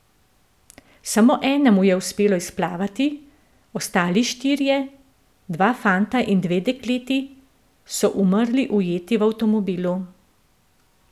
Samo enemu je uspelo izplavati, ostali štirje, dva fanta in dve dekleti, so umrli ujeti v avtomobilu.